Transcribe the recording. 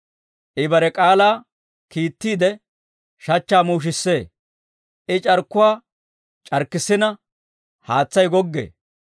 I bare k'aalaa kiittiide, shachchaa muushissee. I c'arkkuwaa c'arkkissina, haatsay goggee.